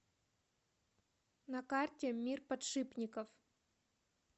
на карте мир подшипников